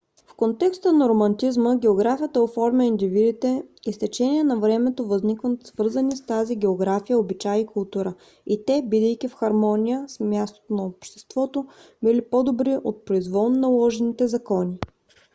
в контекста на романтизма географията оформя индивидите и с течение на времето възникват свързани с тази география обичаи и култура и те бидейки в хармония с мястото на обществото били по - добри от произволно наложените закони